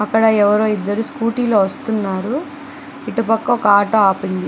అక్కడ ఎవరో ఇద్దరు స్కూటీ వస్తున్నారు. ఇటు పక్క ఒక ఆటో ఆగి ఉంది.